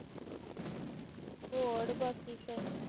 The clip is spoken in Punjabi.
ਹੋਡ